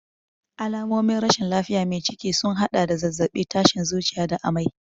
Alamomin rashin lafiyar mai ciki sun haɗa da zazzabi, tashin zuciya da amai.